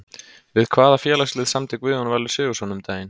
Við hvaða félagslið samdi Guðjón Valur Sigurðsson um daginn?